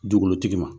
Dukolotigi ma